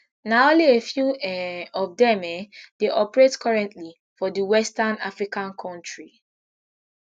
na only a few um of dem um dey operate currently for di west african kontri